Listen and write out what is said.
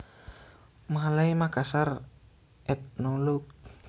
Malay Makassar Ethnologue